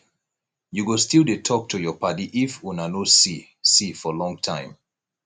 you go still dey talk to your paddy if una no see see for long time